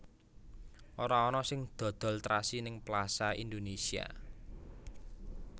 Ora ana sing dodol trasi ning Plaza Indonesia